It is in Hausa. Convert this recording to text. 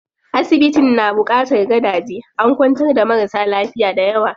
Asibitin na buƙatar gadaje, an kwantar da marasa lafiya dayawa.